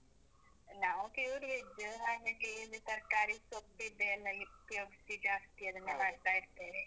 ನಾವು pure veg ಹಾಗಾಗಿ ಇಲ್ಲಿ ತರ್ಕಾರಿ, ಸೊಪ್ಪಿದ್ದೆ ಎಲ್ಲ ಉಪಯೋಗ್ಸಿ ಜಾಸ್ತಿ. ಅದನ್ನೇ ಮಾಡ್ತಾ ಇರ್ತೇವೆ.